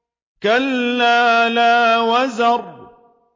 كَلَّا لَا وَزَرَ